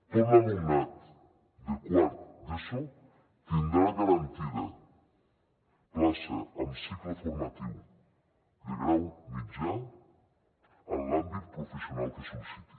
tot l’alumnat de quart d’eso tindrà garantida plaça amb cicle formatiu de grau mitjà en l’àmbit professional que sol·liciti